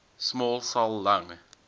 small cell lung